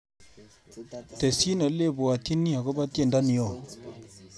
Tesyi olebwatyini agoba tyendo ni oo